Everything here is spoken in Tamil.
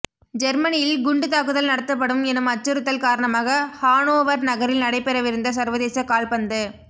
ஜெர்மனியில் குண்டுத் தாக்குதல் நடத்தப்படும் எனும் அச்சுறுத்தல் காரணமாக ஹானோவர் நகரில் நடைபெறவிருந்த சர்வதேச கால்பந்து